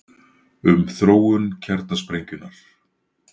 Um þróun kjarnasprengjunnar: